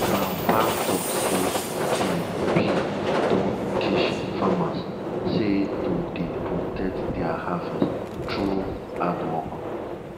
grandpa talk say de bee don teach farmers sey to dey protect their harvest through hardwork